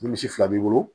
Ni misi fila b'i bolo